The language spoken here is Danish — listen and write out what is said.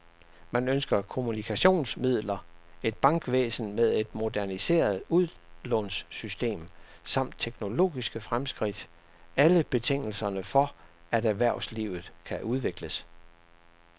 Man ønsker kommunikationsmidler, et bankvæsen med et moderniseret udlånssystem samt teknologiske fremskridt, alle betingelserne for, at erhvervslivet kan udvikles.